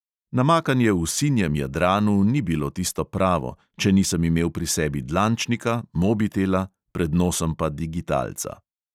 Namakanje v sinjem jadranu ni bilo tisto pravo, če nisem imel pri sebi dlančnika, mobitela, pred nosom pa digitalca.